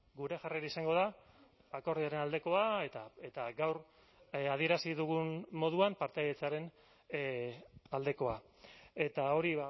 gure jarrera izango da akordioaren aldekoa eta gaur adierazi dugun moduan partaidetzaren aldekoa eta hori